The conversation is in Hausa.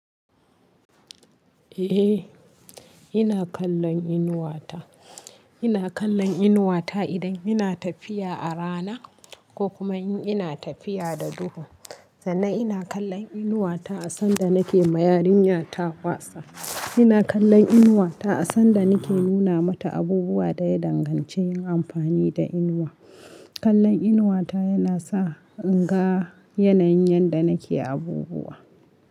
Eh, ina kallon inuwa ta. Ina kallon inuwa ta idan ina tafiya a rana ko kuma in ina tafiya da duhu. Sannan ina kallon inuwa ta a sanda nake ma yarinya ta wasa. Ina kallon inuwa ta a sanda nake nuna mata abubuwa da ya danganci yin amfani da inuwa. Kallon inuwa ta yana sa in ga yanayin yadda nake abubuwa.